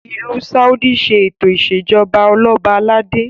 ilù Saudi ṣe eto ìṣèjọba Ọlọba aládé